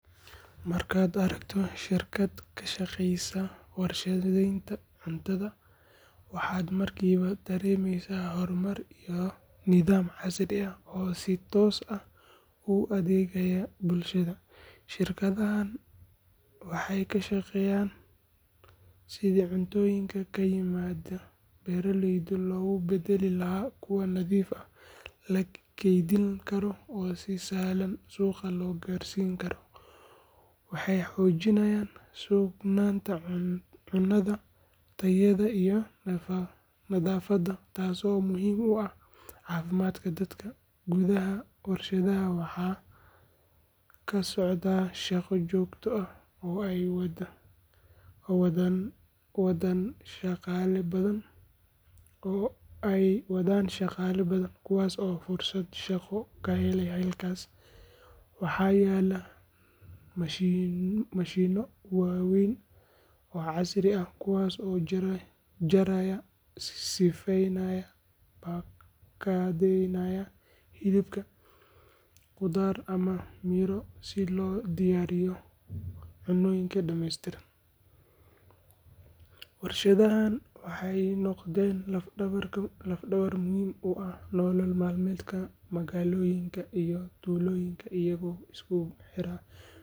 Markaad aragto shirkad ka shaqeysa warshadaynta cuntada, waxaad markiiba dareemaysaa horumar iyo nidaam casri ah oo si toos ah ugu adeegaya bulshada. Shirkadahan waxay ka shaqeeyaan sidii cuntooyinka ka yimaada beeraleyda loogu beddeli lahaa kuwo nadiif ah, la keydin karo oo si sahlan suuqa loo gaarsiin karo. Waxay xoojiyaan sugnaanta cunnada, tayada iyo nadaafadda, taasoo muhiim u ah caafimaadka dadka. Gudaha warshadda waxaa ka socda shaqo joogto ah oo ay wadaan shaqaale badan, kuwaas oo fursado shaqo ka helay halkaas. Waxaa yaalla mashiinno waaweyn oo casri ah kuwaas oo jaraya, sifeynaya, baakadeeynaya hilib, qudaar ama miro si loogu diyaariyo cuntooyin dhammeystiran. Warshadahan waxay noqdeen laf-dhabar muhiim u ah nolol maalmeedka magaalooyinka iyo tuulooyinka, iyagoo isku xira beeraleyda.